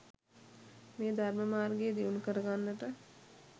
මේ ධර්ම මාර්ගය දියුණු කරගන්නට